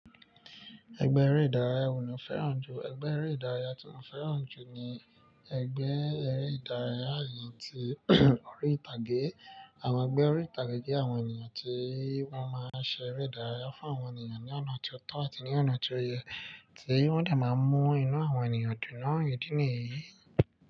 Ẹgbẹ́ eré ìdárayá wo ni o fẹ́ràn jù? Ẹgbẹ́ eré ìdárayá tí mo fẹ́ràn jù ni ẹgbẹ́ eré ìdárayá àyè tí orí ìtàgé. Àwọn ẹgbẹ́ orí ìtàgé jẹ́ àwọn ènìyàn tí wọ́n máa ṣe eré ìdárayá fún àwọn ènìyàn ní ọ̀nà tó tọ́ àti ní ọ̀nà tó yẹ, tí wọ́n de máa mú inú àwọn ènìyàn dùn ní ìdí nìyí.